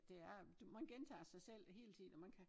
Der er du man gentager sig selv hele tiden og man kan